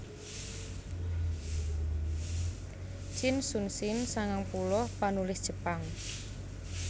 Chin Shunshin sangang puluh panulis Jepang